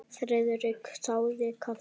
Friðrik þáði kaffi.